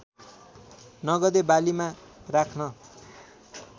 नगदे बालीमा राख्न